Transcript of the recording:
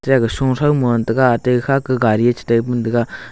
sho thao ma ngan tega tikha ke gari chetai pe ngan tega.